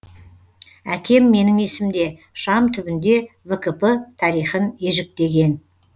әкем менің есімде шам түбінде вкп тарихын ежіктеген